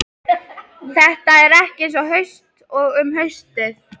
Þetta er ekki eins haust og um haustið.